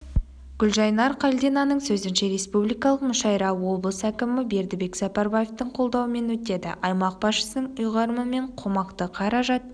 гүлжайнар қалдинаның сөзінше республикалық мүшәйра облыс әкімі бердібек сапарбаевтың қолдауымен өтеді аймақ басшысының ұйғарымымен қомақты қаражат